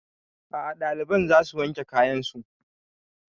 A'a ɗaliban za su wanke kayan su